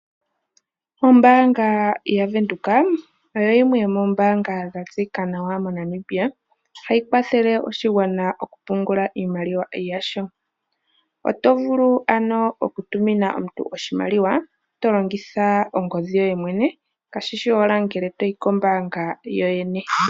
Ombaanga yaVenduka oyo yimwe yomoombanga dha tseyika nawa moNamibia. Ohayi kwathele oshigwana okupungula iimaliwa yasho. Oto vulu ano okutumina omuntu oshimaliwa to longitha ongodhi yoye mwene kashishi owala ngele toyi kombaanga yoyene.